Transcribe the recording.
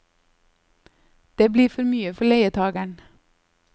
Det blir for mye for leietageren.